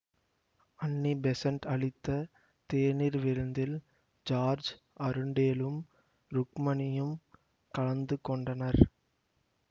அன்னி Besant அளித்த தேநீர் விருந்தில் ஜார்ஜ் அருண்டேலும் ருக்மணியும் கலந்து கொண்டனர்